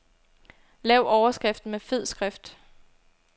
Lav overskriften med fed skrift.